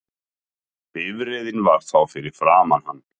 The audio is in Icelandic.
Bifreiðin var þá fyrir framan hann